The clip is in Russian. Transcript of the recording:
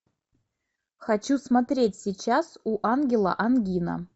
хочу смотреть сейчас у ангела ангина